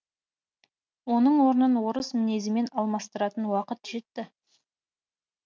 оның орнын орыс мінезімен алмастыратын уақыт жетті